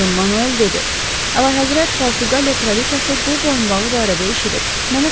Don Manuel dedi: Əlahəzrət Portuqaliya kraliçası bu boyunbağı barədə eşidib.